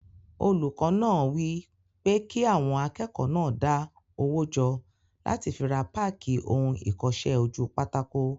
Olùkọ́ náà wí pé kí àwọn akẹ́kọ̀ọ́ náà dá owó jọ láti fi ra páàkì ohun ìkọsẹ́-ojúpátákó